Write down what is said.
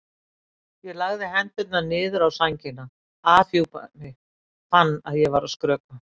Ég lagði hendurnar niður á sængina, afhjúpaði mig, fann að ég var að skrökva.